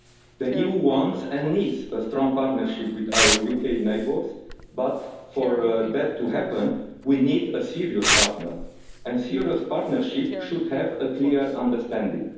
The EU wants, and needs, a strong partnership with our UK neighbours, but, for that to happen, we need a serious partner, and serious partnerships should have a clear understanding.